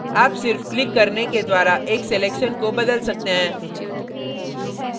आप सिर्फ क्लिक करने के द्वारा एक selection को बदल सकते हैं